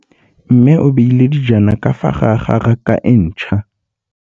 Mmê o beile dijana ka fa gare ga raka e ntšha.